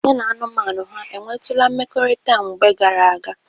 Ya na anụmanụ ha ewtụla mmekorita na mgbe gara aga?